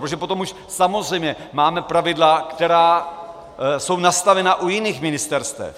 Protože potom už samozřejmě máme pravidla, která jsou nastavena u jiných ministerstev.